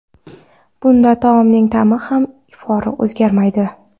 Bunda taomning ta’mi va ifori o‘zgarmaydi.